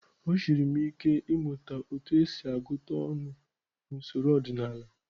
O siiri m ike ịmụta otú e si agụta ọnụ n’usoro ọdịnala.